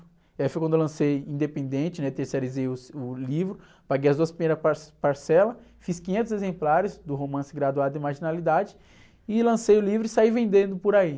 Eh, foi quando eu lancei independente, né? Terceirizei os, o livro, paguei as duas primeiras par, parcelas, fiz quinhentos exemplares do romance Graduado de Marginalidade, e lancei o livro e saí vendendo por aí.